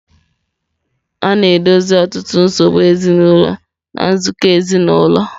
A na-edozi ọtụtụ nsogbu ezinụlọ na nzukọ ezinụlọ.